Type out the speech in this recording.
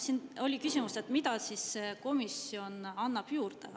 Siin oli küsimus, et mida see komisjon annab juurde.